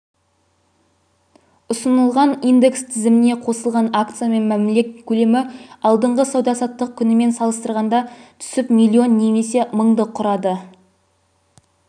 ұсынылған индекс тізіміне қосылған акциямен мәміле көлемі алдыңғы сауда-саттық күнімен салыстырғанда түсіп миллион немесе мыңды құрады